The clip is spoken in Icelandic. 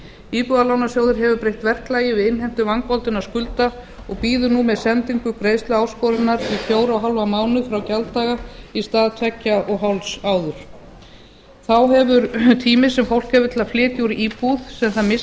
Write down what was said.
íbúðalánasjóður hefur breytt verklagi við innheimtu vangoldinna skulda og bíður nú með sendingu greiðsluáskorunar í fjóra og hálfan mánuð frá gjalddaga í stað tveggja og hálfs áður þá hefur tími sem fólk hefur til að flytja úr íbúð sem það